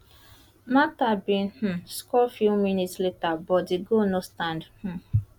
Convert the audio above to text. martha bin um score few minutes later but di goal no stand um